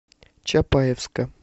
чапаевска